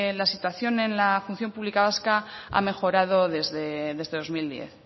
la situación en la función pública vasca ha mejorado desde dos mil diez